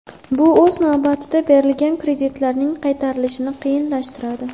Bu o‘z navbatida berilgan kreditlarning qaytarilishini qiyinlashtiradi.